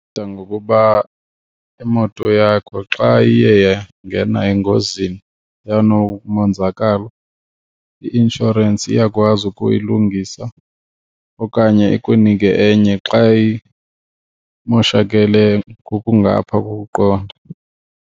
ngokuba imoto yakho xa iye yangena engozini yanomonzakalo i-inshorensi iyakwazi ukuyilungisa okanye ikunike enye xa imoshakele ngokungapha kokuqonda.